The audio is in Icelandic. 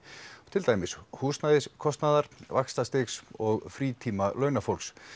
til dæmis húsnæðiskostnaðar vaxtastigs og frítíma